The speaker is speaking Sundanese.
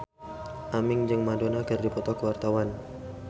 Aming jeung Madonna keur dipoto ku wartawan